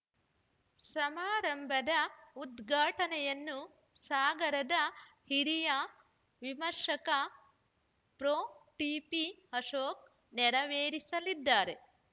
ಸಮಾರಂಭದ ಉದ್ಘಾಟನೆಯನ್ನು ಸಾಗರದ ಹಿರಿಯ ವಿಮರ್ಶಕ ಪ್ರೊ ಟಿಪಿಅಶೋಕ್‌ ನೆರವೇರಿಸಲಿದ್ದಾರೆ